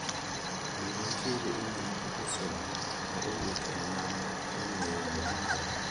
Bende nitiere imel ma pok osom ma owuok e namab ong'ue yamo mara?